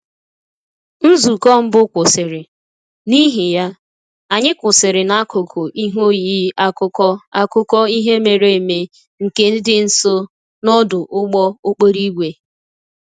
Nzukọ mbụ kwụsịrị, n'ihi ya, anyị kwụsịrị n'akụkụ ihe oyiyi akụkọ akụkọ ihe mere eme nke dị nso n'ọdụ ụgbọ okporo ígwè